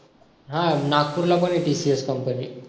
हा नागपूरला पण आहे TCS company